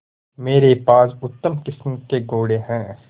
मेरे पास उत्तम किस्म के घोड़े हैं